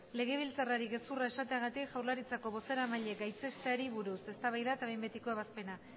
legebiltzarrari gezurra esateagatik jaurlaritzako bozeramailea gaitzesteari buruz eztabaida eta behin betiko ebazpena